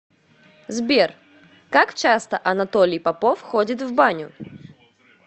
сбер как часто анатолий попов ходит в баню